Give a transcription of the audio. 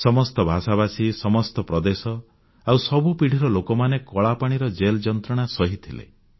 ସମସ୍ତ ଭାଷାଭାଷୀ ସମସ୍ତ ପ୍ରଦେଶ ଆଉ ସବୁ ପିଢ଼ିର ଲୋକମାନେ କଳାପାଣିର ଜେଲ୍ ଯନ୍ତ୍ରଣା ସହିଥିଲେ